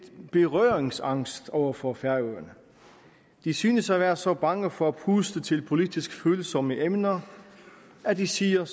berøringsangst over for færøerne de synes at være så bange for at puste til politisk følsomme emner at de siger